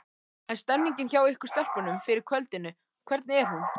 En stemningin hjá ykkur stelpunum fyrir kvöldinu, hvernig er hún?